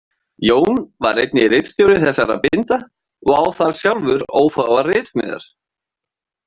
Jón var einnig ritstjóri þessara binda og á þar sjálfur ófáar ritsmíðar.